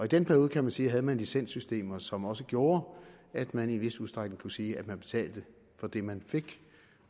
den periode kan man sige havde man licenssystemer som også gjorde at man i en vis udstrækning kunne sige at man betalte for det man fik